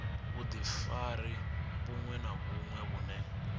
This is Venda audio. vhudifari vhuṅwe na vhuṅwe vhune